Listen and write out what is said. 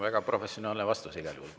Väga professionaalne vastus igal juhul.